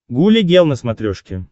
гуля гел на смотрешке